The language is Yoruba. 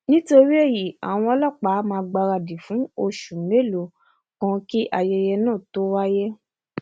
nítorí èyí àwọn ọlọpàá a máà gbáradì fún oṣù mélòó um kan kí ayẹyẹ náà um tó wáyé